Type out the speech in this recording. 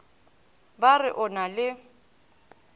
ba re o na le